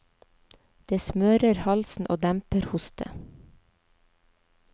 Det smører halsen og demper hoste.